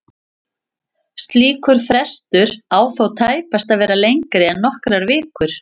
Slíkur frestur á þó tæpast að vera lengri en nokkrar vikur.